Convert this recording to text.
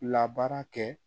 Labaara kɛ